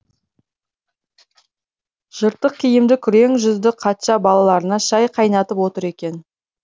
жыртық киімді күрең жүзді қатша балаларына шай қайнатып отыр екен